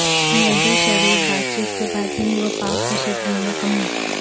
مودی شریف بات چیت کے بعد ہند و پاک کشیدگی میں کمی